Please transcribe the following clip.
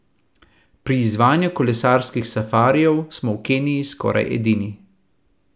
Pri izvajanju kolesarskih safarijev smo v Keniji skoraj edini.